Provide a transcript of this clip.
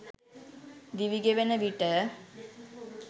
දිවිගෙවෙන විට